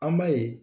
An b'a ye